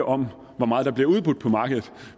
om hvor meget der bliver udbudt på markedet